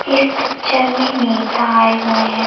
इस पिक्चर में नेता आये हुए हैं।